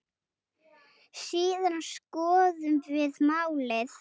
Síðan skoðum við málið.